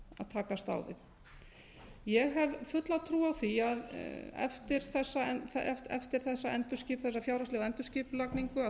takast á við ég hef fulla trú á því að eftir þessa fjárhagslegu endurskipulagningu